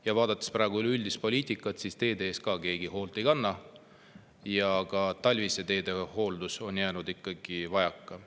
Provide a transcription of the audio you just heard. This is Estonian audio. Ja vaadates praegu üleüldist poliitikat, siis teede eest keegi hoolt ei kanna, ka talvine teehooldus on jäänud vajaka.